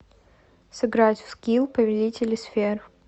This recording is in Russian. сыграть в скилл повелители сфер